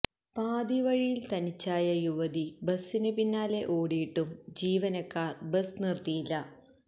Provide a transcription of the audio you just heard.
പാതിവഴിയില് തനിച്ചായ യുവതി ബസിന് പിന്നാലെ ഓടിയിട്ടും ജീവനക്കാര് ബസ് നിര്ത്തിയില്ല